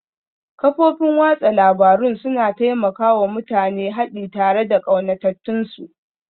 Kafofin watsa labarun suna taimaka wa mutane haɗi tare da ƙaunatattunsu